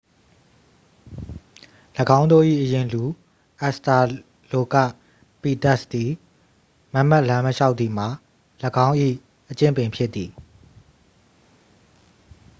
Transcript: ၎င်းတို့၏ အရင်လူ အက်စ်စတာလိုကပီသက်စ် သည် မတ်မတ်လမ်းမလျှောက်သည်မှာ ၎င်း၏ အကျင့်ပင်ဖြစ်သည်